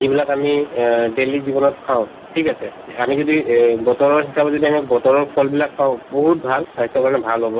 যিবিলাক আমি অ daily জীৱনত খাওঁ ঠিক আছে আমি যদি এই বতৰৰ হিচাপে যদি আমি বতৰৰ ফলবিলাক খাওঁ বহুত ভাল স্বাস্থ্যৰ কাৰণে ভাল হব